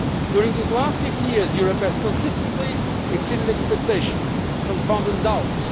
During these last 50 years Europe has consistently exceeded expectations, confounding doubts.